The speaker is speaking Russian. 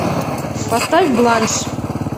поставь бланш